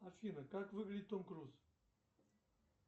афина как выглядит том круз